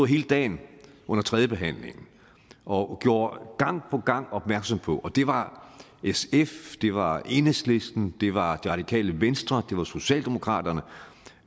hele dagen under tredjebehandlingen og gjorde gang på gang markant opmærksom på det var sf det var enhedslisten det var det radikale venstre og det var socialdemokraterne